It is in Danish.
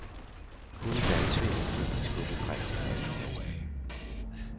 Kun valgsvindel fik ham skubbet frem til førstepladsen.